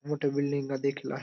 मोठी बिल्डिंगा देखील आहे.